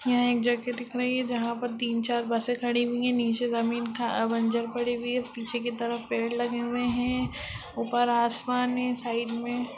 यह एक जगह दिख रही है जहाँ पर तीन चार बसे खड़ी हुई है नीचे जमीन था अ बंजर पड़ी हुई है पीछे की तरफ पेड़ लगे हुए है ऊपर आसमान में साइड में--